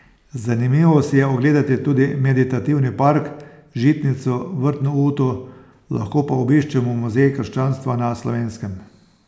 Zanimivo si je ogledati tudi meditativni park, žitnico, vrtno uto, lahko pa obiščemo Muzej krščanstva na Slovenskem.